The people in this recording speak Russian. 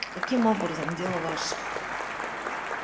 каким образом дело ваше